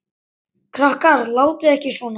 Krakkar látiði ekki svona!